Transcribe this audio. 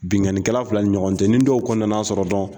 Bingani kɛla fila ɲɔgɔn tɛ nin dɔw kɔni nana sɔrɔ dɔrɔn.